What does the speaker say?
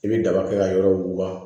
I bɛ daba kɛ ka yɔrɔ wuguba